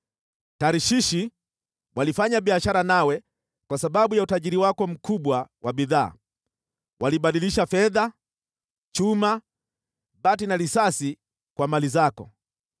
“ ‘Tarshishi walifanya biashara nawe kwa sababu ya utajiri wako mkubwa wa bidhaa, walibadilisha fedha, chuma, bati na risasi kwa mali zako.